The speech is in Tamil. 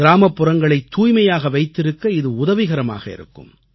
கிராமப்புறங்களைத் தூய்மையாக வைத்திருக்க இது உதவிகரமாக இருக்கும்